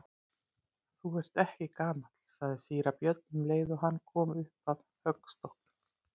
Þú ert ekki gamall, sagði síra Björn um leið og hann kom upp að höggstokknum.